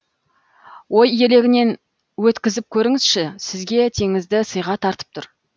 ой елегінен өткізіп көріңізші сізге теңізді сыйға тартып тұр